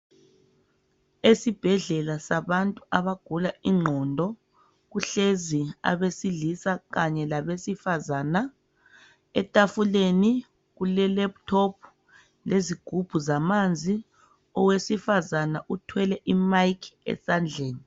Esibhedlela sabantu abagula ingqondo kuhlezi abesilisa kanye labesifazana etafuleni kule laptop lezigubhu zamanzi owesifazana uthwele i mic esandleni.